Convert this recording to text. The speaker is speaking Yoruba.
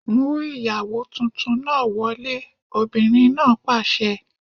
Mú ìyàwó tuntun wọlé! Obìnrin náà pàṣẹ.